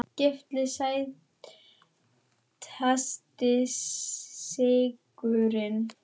Gylfi Sætasti sigurinn?